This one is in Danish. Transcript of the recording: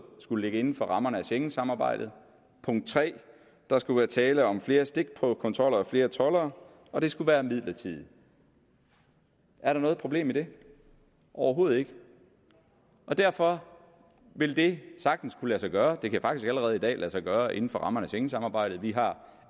skulle ligge inden for rammerne af schengensamarbejdet punkt tredje der skulle være tale om flere stikprøvekontroller og flere toldere og det skulle være midlertidigt er der noget problem i det overhovedet ikke derfor vil det sagtens kunne lade sig gøre det kan faktisk allerede i dag lade sig gøre inden for rammerne af schengensamarbejdet vi har